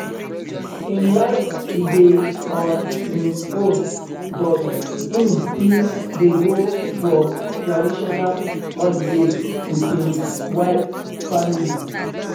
im like to dey on im own but im still dey go for traitional holiday with im wife family